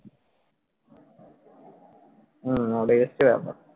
হম ওটাই হচ্ছে ব্যাপার।